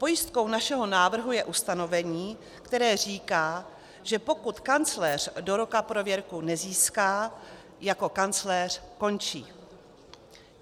Pojistkou našeho návrhu je ustanovení, které říká, že pokud kancléř do roku prověrku nezíská, jako kancléř končí.